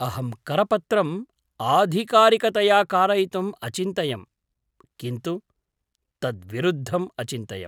अहं करपत्रम् आधिकारिकतया कारयितुम् अचिन्तयं, किन्तु तद्विरुद्धम् अचिन्तयम्।